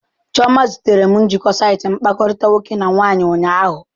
Chioma zitere m njikọ saịtị mkpakọrịta nwoke na nwaanyị ụnyaahụ.